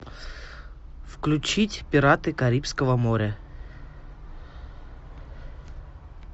включить пираты карибского моря